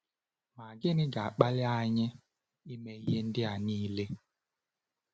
Ma gịnị ga-akpali anyị ime ihe ndị a niile?